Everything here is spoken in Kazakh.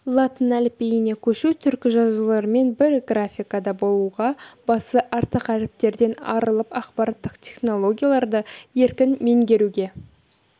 латын әліпбиіне көшу түркі жазуларымен бір графикада болуға басы артық әріптерден арылып ақпараттық технологияларды еркін меңгеруге